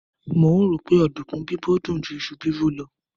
Mò ń rò ó pé ọ̀dùnkún bíbọ̀ dùn ju iṣu bíbọ̀ lọ